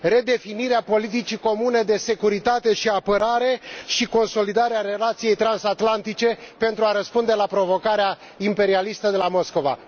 redefinirea politicii comune de securitate și apărare și consolidarea relației transatlantice pentru a răspunde la provocarea imperialistă de la Moscova.